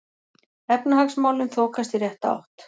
Efnahagsmálin þokast í rétta átt